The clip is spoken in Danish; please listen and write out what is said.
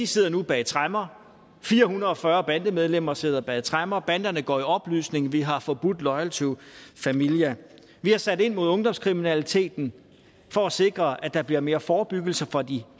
sidder nu bag tremmer fire hundrede og fyrre bandemedlemmer sidder bag tremmer banderne går i opløsning og vi har forbudt loyal to familia vi har sat ind mod ungdomskriminaliteten for at sikre at der bliver mere forebyggelse fra de